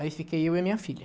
Aí fiquei eu e a minha filha.